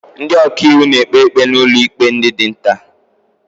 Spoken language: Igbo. Ndị ọkàiwu na-ekpe ikpe n'ụlọikpe dị nta.